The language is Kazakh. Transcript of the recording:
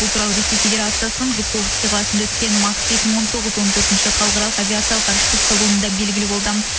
бұл туралы ресей федерациясының жуковский қаласында өткен макс екі мың он тоғыз он төртінші халықаралық авиациялық ғарыштық салонында белгілі болды